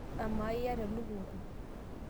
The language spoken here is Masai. amaa iyata elukunku